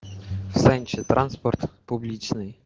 санчо транспорт публичный